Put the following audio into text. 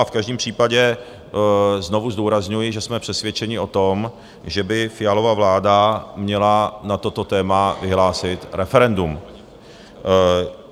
A v každém případě znovu zdůrazňuji, že jsme přesvědčeni o tom, že by Fialova vláda měla na toto téma vyhlásit referendum.